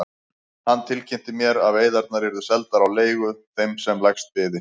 Hann tilkynnti mér að veiðarnar yrðu seldar á leigu þeim sem lægst byði.